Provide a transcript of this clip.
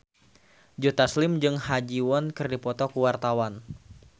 Joe Taslim jeung Ha Ji Won keur dipoto ku wartawan